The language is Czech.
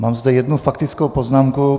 Mám zde jednu faktickou poznámku.